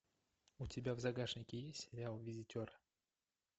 у тебя в загашнике есть сериал визитер